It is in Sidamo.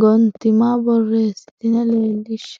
gontima borreessitine leellishshe.